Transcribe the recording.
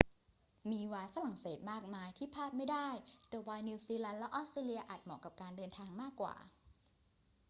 มีไวน์ฝรั่งเศสมากมายที่พลาดไม่ได้ แต่ไวน์นิวซีแลนด์และออสเตรเลียอาจเหมาะกับการเดินทางมากกว่า